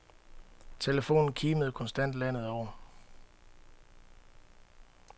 Telefonen kimede konstant landet over.